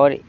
और इस--